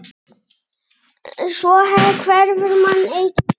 Svo hverfur manns eigin dýrð.